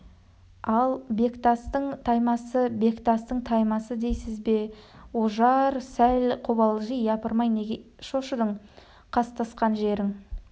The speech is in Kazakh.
ал бектастың таймасы бектастың таймасы дейсіз бе деді ожар сәл қобалжи япырмай неге шошыдың қастасқан жерің